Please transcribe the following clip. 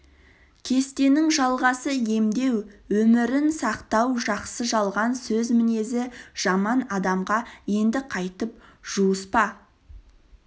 кестенің жалғасы емдеу өмірін сақтау жақсы жалған сөз мінезі жаман адамға енді қайтіп жуыспа